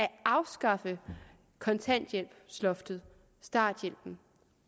afskaffer kontanthjælpsloftet starthjælpen